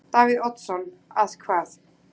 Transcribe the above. Davíð Oddsson: Að hvað?